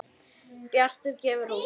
Bjartur gefur út